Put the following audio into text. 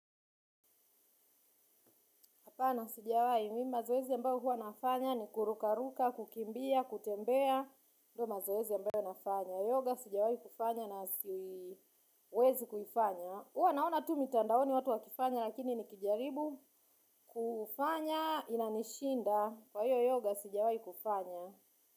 Hapana sijawahi, mimi mazoezi ambayo huwa nafanya ni kurukaruka, kukimbia, kutembea. Ndio mazoezi ambayo nafanya. Yoga sijawahi kufanya na siwezi kuifanya. Huwa naona tu mitandaoni watu wakifanya lakini nikijaribu kufanya inanishinda. Kwa hiyo yoga sijawahi kufanya.